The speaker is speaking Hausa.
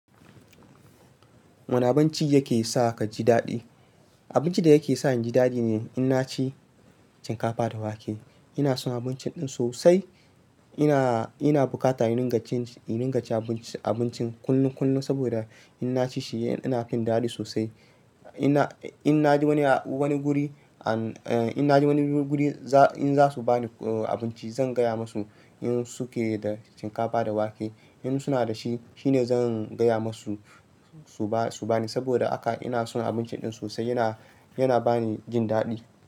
Wane abinci yake sa ka ji daɗi? Abincin da yake sa in ji daɗi ne in na ci shinkafa da wake. Ina son abincin ɗin sosai. Ina, ina buƙatar in ringan cin, in ringa cin abincin, abincin kullun kullun saboda in na ci shi ina jin daɗi sosai. Ina, in na je wani, wani guri an, eh in na je wani guri za, in za su ba ni abinci zan gaya musu in suke da shinkafa da wake. In suna da shi, shi ne zan gaya musu su ba, su ba ni saboda haka, ina son abincin ɗin sosai yana, yana ba ni jin daɗi.